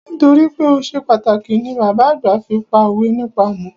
Nítorípé o ṣe pàtàkì ni bàbá àgbà fi pá òwe nípa ọmọ.